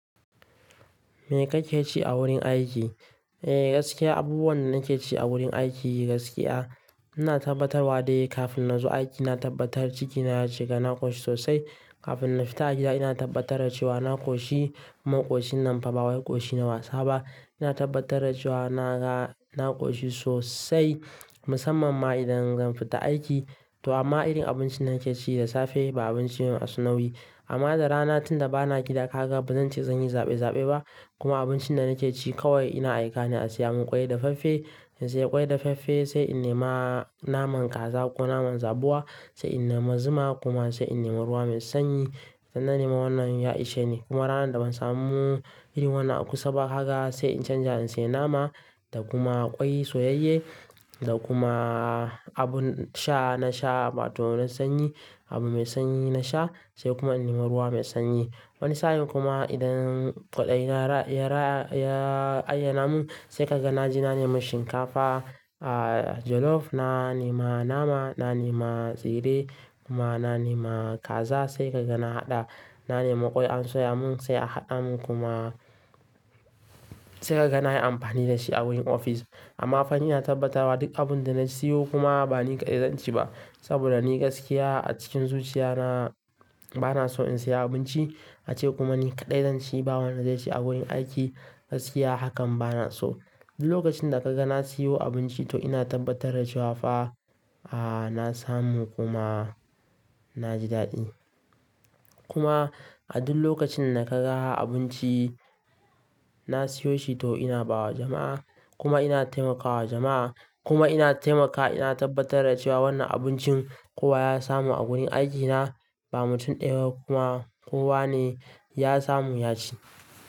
Me kake ci a wurin aiki? Eh gaskiya abubuwan da nake ci a wurin aiki gaskiya ina tabbatarwa dai kafin na zo aiki, ina tabbatar cikina ya cika. Na koshi sosai. Kafin na fita aiki ina tabbatar da cewa na koshi, kuma koshin nan fa bawai koshi na wasa ba. Ina tabbatar da cewa naga na koshi sosai musamman ma idan zan fita aiki. To amma irin abincin nake ci da safe ba abinci mai asunawi. Amma da rana tunda bana gida haka bazan ce zan yi zaɓe-zaɓe ba. Kuma abincin da nake ci kawai ina aika na saya mun ƙwai dafaffe. In saya ƙwai dafaffe sai in nema naman kaza ko naman zabuwa. Sai in nema zuma kuma sai in nema ruwa mai sanyi. Idan na nema wannan ya ishe ni. Kuma ranar da ban samu irin wannan a kusa ba haka sai in canja in saya nama da kuma ƙwai soyayye da kuma abun sha. Na sha wa to na sanyi abu mai sanyi na sha, sai kuma in nema ruwa mai sanyi. Wani sa'in kuma idan kaɗai yana ya ya ayyena mun sai kaga na je na nema shinkafa, ah jollof, na nema nama, na nema tsire kuma na nema kaza sai kaga na haɗa. Na nema ƙwai an soya mun sai a haɗa mun kuma sai kaga na yi amfani da shi a wurin ofis. Amma fa ina tabbatarwa duk abunda na siyo kuma ba ni kaɗai zan ci ba. Saboda ni gaskiya a cikin zuciya na bana so in saya abinci ace kuma ni kaɗai zan ci. Ba wanda zai ci a wurin aiki gaskiya hakan bana so. Duk lokacin da kaga na siyo abinci to ina tabbatar da cewa fa a na samu kuma na ji daɗi. Kuma a duk lokacin da kaga abinci na siyo shi to ina ba wa jama'a kuma ina taimakawa jama'a kuma ina taimakawa ina tabbatar da cewa wannan abincin kowa ya samu a wurin aikina. Ba mutum ɗaya kuma kowa ne ya samu ya ci.